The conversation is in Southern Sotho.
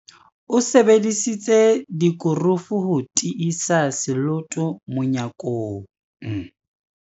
O sebedisitse dikurufu ho tiisa seloto monyakong.